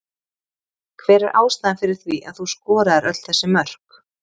Hver er ástæðan fyrir því að þú skoraðir öll þessi mörk?